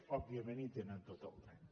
òbviament hi tenen tot el dret